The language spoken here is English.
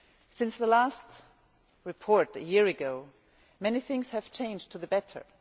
Since the last report a year ago, many things have changed for the better.